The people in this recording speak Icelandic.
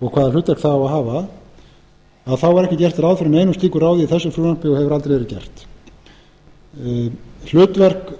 og hvaða hlutverk það á að hafa að þá er ekki gert ráð fyrir neinu slíku ráði í þessu frumvarpi og hefur aldrei verið gert hlutverk